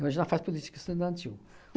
Hoje ela faz política estudantil.